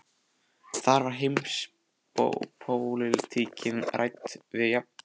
Þar er heimspólitíkin rædd á jafnréttisgrundvelli.